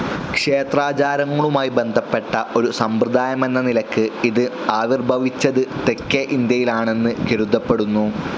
ക്ഷേത്രാചാരങ്ങളുമായി ബന്ധപ്പെട്ട ഒരു സമ്പ്രദായമെന്ന നിലയ്ക്ക് ഇത് ആവിർഭവിച്ചത് തെക്കേ ഇന്ത്യയിലാണെന്ന് കരുതപ്പെടുന്നു.